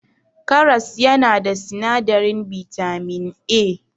Karas yana da sinadarin bitamin A.